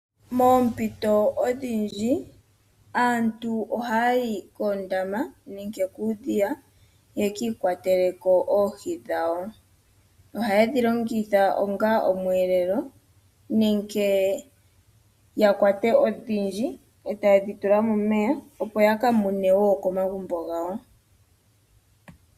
Moompito odhindji, aantu ohaya yi koondama nenge kuudhiya ye ki ikwatele ko oohi dhawo. Ohaye dhi longitha onga omweelelo nenge ya kwate odhindji, e taye dhi tula momeya, opo ya ka mune wo komagumbo gawo.